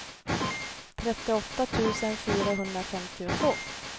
trettioåtta tusen fyrahundrafemtiotvå